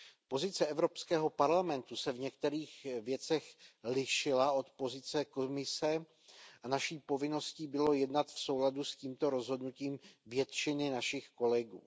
Pozice Evropského parlamentu se v některých věcech lišila od pozice Komise a naší povinností bylo jednat v souladu s tímto rozhodnutím většiny našich kolegů.